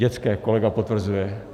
Dětské, kolega potvrzuje.